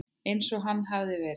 Eins og hann hafði verið.